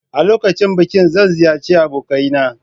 A lokacin bikin zan ziyarci abokaina.